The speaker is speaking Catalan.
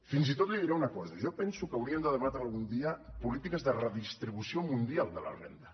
fins i tot li diré una cosa jo penso que haurien de debatre algun dia polítiques de redistribució mundial de la renda